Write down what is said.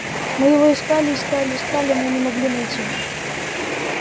мы его искали искали искали но не могли найти